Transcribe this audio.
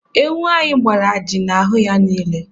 Ewu anyị gbara ajị n'ahụ ya niile.